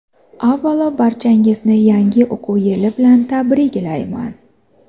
Avvalo barchangizni yangi o‘quv yili bilan tabriklayman!.